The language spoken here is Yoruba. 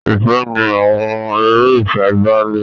Ìfẹ ni àwọn eré ìfẹ bàlé.